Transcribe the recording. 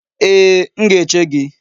Ee, m ga-eche gị.